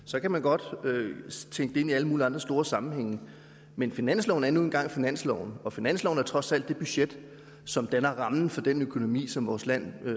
så kan man godt tænke det ind i alle mulige andre store sammenhænge men finansloven er nu engang finansloven og finansloven er trods alt det budget som danner rammen for den økonomi som vores land